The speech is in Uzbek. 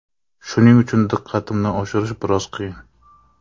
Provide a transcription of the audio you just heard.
Shuning uchun diqqatimni oshirish biroz qiyin.